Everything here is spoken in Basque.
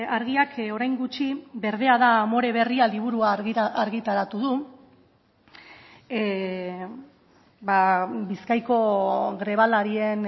argiak orain gutxi berdea da amore berria liburua argitaratu du bizkaiko grebalarien